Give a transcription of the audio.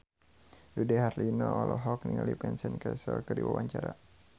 Dude Herlino olohok ningali Vincent Cassel keur diwawancara